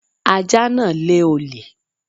Ajá náà lé olè